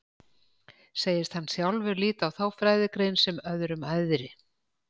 Segist hann sjálfur líta á þá fræðigrein sem öðrum æðri.